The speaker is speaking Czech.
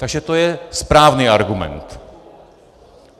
Takže to je správný argument.